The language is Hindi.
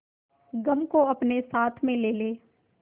गम को अपने साथ में ले ले